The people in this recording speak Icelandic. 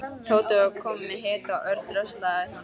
Tóti var kominn með hita og Örn dröslaði honum inn.